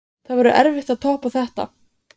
Guðný: Það verður erfitt að toppa þetta?